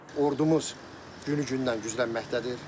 Ordumuz günü gündən güclənməkdədir.